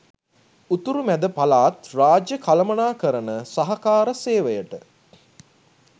උතුරු මැද පළාත් රාජ්‍ය කළමනාකරණ සහකාර සේවයට